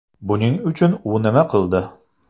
Buning uchun u nima qildi?